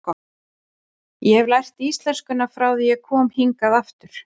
Ég hef lært íslenskuna frá því ég kom hingað aftur.